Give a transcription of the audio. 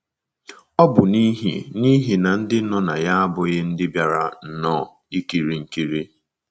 Ọ bụ n’ihi n’ihi na ndị nọ ya abụghị ndị bịara nnọọ ikiri nkiri.